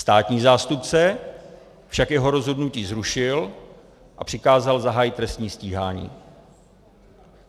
Státní zástupce však jeho rozhodnutí zrušil a přikázal zahájit trestní stíhání.